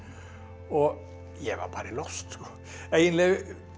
og ég var bara í losti eiginlega